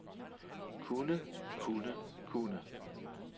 kunne kunne kunne